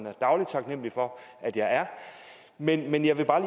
er dagligt taknemlig for at jeg er men jeg vil bare